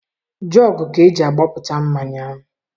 Jọọgụ ka eji agbapụta mmanya.